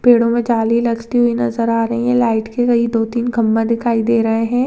पेड़ो मे जाली लटकी हुई नजर आ रही है लाइट की कई दो तीन खंबा दिखाई दे रहे है।